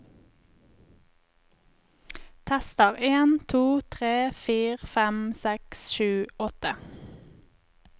Tester en to tre fire fem seks sju åtte